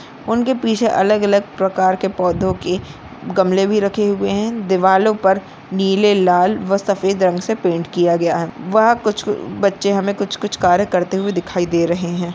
उनके पीछे अलग-अलग प्रकार के पौधों की गमले भी रखे हुए हैं दीवालों पर नीले लाल व सफ़ेद रंग से पैंट किया गया है वह कुछ बच्चे हमें कुछ-कुछ कार्य करते हुए दिखाई दे रहे हैं।